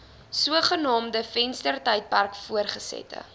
sogenaamde venstertydperk voortgesette